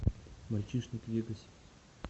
мальчишник в вегасе